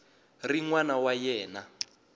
ri n wana wa yena